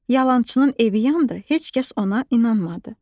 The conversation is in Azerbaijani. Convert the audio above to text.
Yalançının evi yandı, heç kəs ona inanmadı.